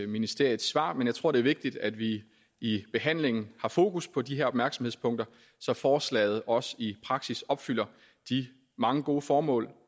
ministeriets svar men jeg tror det er vigtigt at vi i behandlingen har fokus på de her opmærksomhedspunkter så forslaget også i praksis opfylder de mange gode formål